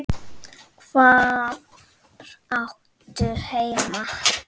Hvar áttu heima?